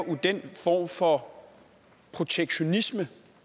er den form for protektionisme